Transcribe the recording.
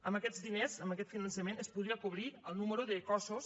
amb aquests diners amb aquest finançament es podria cobrir el nombre de cossos